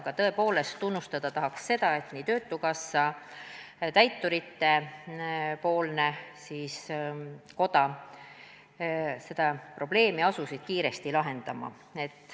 Aga tõepoolest, tunnustada tahaks seda, et nii Töötukassa kui ka täituritepoolne koda asusid seda probleemi kiiresti lahendama.